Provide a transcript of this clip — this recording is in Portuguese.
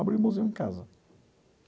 Abri o museu em casa.